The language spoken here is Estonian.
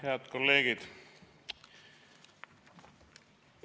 Head kolleegid!